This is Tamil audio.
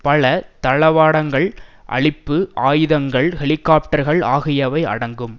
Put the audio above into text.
பல தளவாடங்கள் அளிப்பு ஆயுதங்கள் ஹெலிகாப்டர்கள் ஆகியவை அடங்கும்